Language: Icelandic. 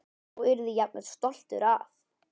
Og yrði jafnvel stoltur af.